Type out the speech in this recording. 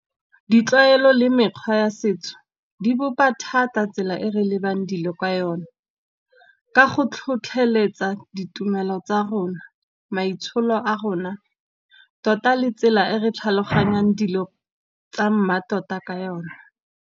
Ditlwaelo le mekgwa ya setso di bopa thata tsela e re lebang dilo ka yone. Ka go tlhotlheletsa ditumelo tsa rona, maitsholo a rona, tota le tsela e re tlhaloganyang dilo tsa mmatota ka yona.